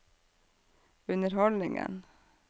underholdningen